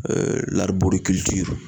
Ee lariburikilitiri